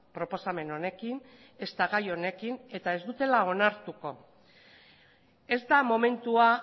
proposamen honekin ezta gai honekin eta ez dutela onartuko ez da momentua